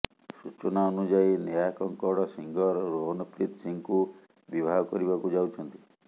ସୂଚନା ଅନୁଯାୟୀ ନେହା କକ୍କଡ଼ ସିଙ୍ଗର ରୋହନପ୍ରୀତ ସିଂଙ୍କୁ ବିବାହ କରିବାକୁ ଯାଉଛନ୍ତି